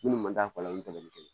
Minnu man d'a kɔ an tɛmɛnen tɛ